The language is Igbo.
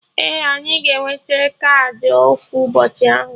Ee, anyị ga-enwete kaadị ofu ụbọchị ahụ